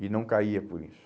E não caía por isso.